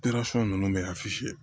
ninnu bɛ